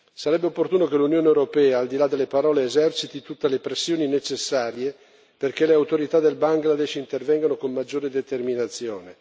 Sarebbe opportuno che l'Unione europea, al di là delle parole, eserciti tutte le pressioni necessarie perché le autorità del Bangladesh intervengano con maggiore determinazione.